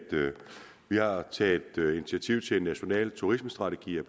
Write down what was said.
vi har taget initiativ til en national turismestrategi og